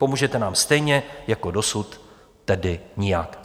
Pomůžete nám stejně jako dosud, tedy nijak.